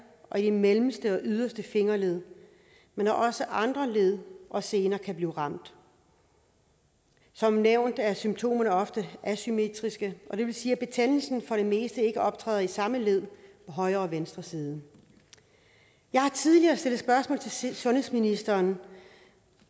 og de mellemste og yderste fingerled men også andre led og sener kan blive ramt som nævnt er symptomerne ofte asymmetriske og det vil sige at betændelsen for det meste ikke optræder i samme led på højre og venstre side jeg har tidligere stillet spørgsmål til sundhedsministeren